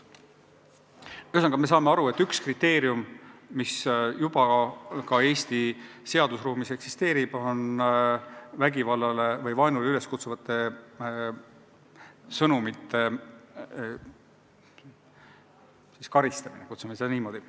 Ühesõnaga, me saame aru, et üks kriteerium, mis juba ka Eesti seadusruumis eksisteerib, on vägivallale või vaenule üleskutsuvate sõnumite eest karistamine – nimetame seda niimoodi.